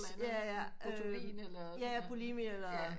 Jaja bulimia eller